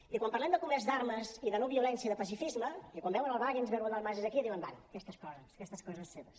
i quan parlem de comerç d’armes i de no violència de pacifisme i quan veuen el wagensberg o el dalmases aquí diuen bé aquestes coses aquestes coses seves